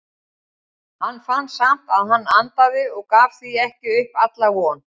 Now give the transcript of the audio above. Hann fann samt að hann andaði og gaf því ekki upp alla von.